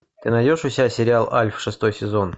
ты найдешь у себя сериал альф шестой сезон